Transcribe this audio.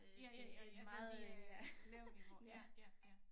Ja ja ja altså det er lav niveau ja ja ja